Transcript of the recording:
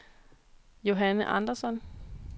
Johanne Andersson